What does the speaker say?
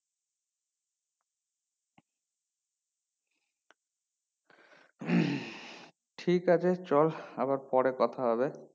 ঠিক আছে চাল আবার পারে কথা হবে